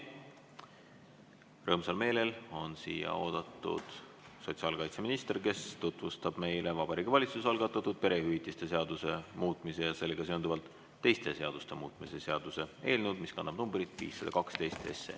Rõõmsal meelel on siia oodatud sotsiaalkaitseminister, kes tutvustab meile Vabariigi Valitsuse algatatud perehüvitiste seaduse muutmise ja sellega seonduvalt teiste seaduste muutmise seaduse eelnõu, mis kannab numbrit 512.